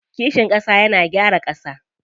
Kishin ƙasa yana gyara ƙasa.